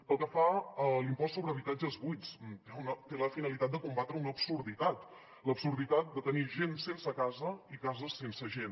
pel que fa a l’impost sobre habitatges buits té la finalitat de combatre una absurditat l’absurditat de tenir gent sense casa i cases sense gent